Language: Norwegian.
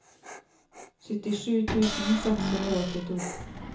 syttisju tusen seks hundre og åttito